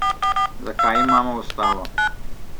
Zakaj imamo ustavo?